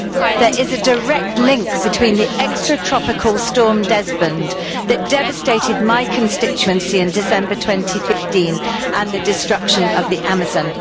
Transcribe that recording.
There is a direct link between the extratropical storm Desmond that devastated my constituency in December 2015 and the destruction of the Amazon.